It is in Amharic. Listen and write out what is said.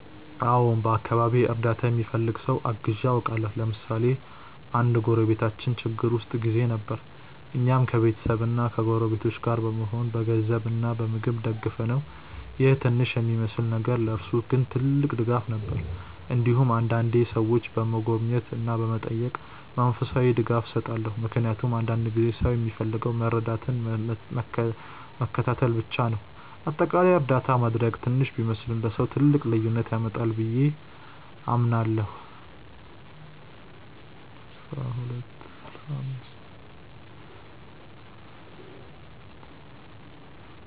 አዎን፣ በአካባቢዬ እርዳታ የሚፈልግ ሰው አግዤ አውቃለሁ። ለምሳሌ አንድ ጎረቤታችን ችግር ውስጥ ጊዜ ነበር፣ እኛም ከቤተሰብና ከጎረቤቶች ጋር በመሆን በገንዘብ እና በምግብ ደገፍነው ይህ ትንሽ የሚመስል ነገር ለእርሱ ግን ትልቅ ድጋፍ ነበር። እንዲሁም አንዳንዴ ሰዎችን በመጎብኘት እና በመጠየቅ መንፈሳዊ ድጋፍ እሰጣለሁ፣ ምክንያቱም አንዳንድ ጊዜ ሰው የሚፈልገው መረዳትና መከታተል ብቻ ነው። በአጠቃላይ እርዳታ ማድረግ ትንሽ ቢመስልም ለሰው ትልቅ ልዩነት ያመጣል ብዬ አምናለሁ።